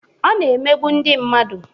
Ọ na-emegbu ndị mmadụ.